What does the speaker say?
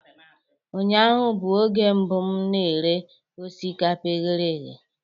Ụnyaahụ bụ oge mbụ m na-eri osikapa e ghere eghe